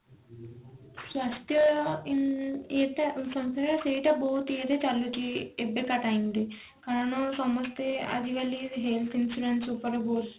ସ୍ୱାସ୍ଥ୍ୟ ସେଇଟା ବହୁତ ଇଏ ରେ ଚାଲୁଛି ଏବେ କା time ରେ କାରଣ ସମସ୍ତେ ଆଜି କାଲି health insurance ଉପରେ ବହୁତ